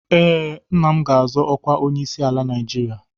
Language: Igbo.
Ee, nna m ga-azọ ọkwa onyeisiala Naijiria.